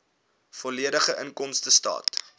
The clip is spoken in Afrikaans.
volledige inkomstestaat